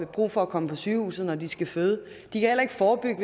brug for at komme på sygehuset når de skal føde de kan heller ikke forebygge